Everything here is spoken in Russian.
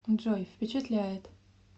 джой впечатляет